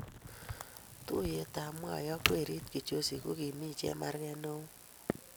tuiyet mwai ak werit kijoshi ko kimii chemargei ne oo